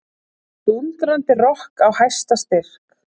Dúndrandi rokk á hæsta styrk.